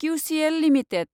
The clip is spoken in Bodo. किउसिएल लिमिटेड